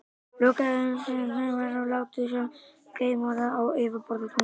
Lokaðu augunum sem snöggvast og láttu sem þú sért geimfari á yfirborði tunglsins.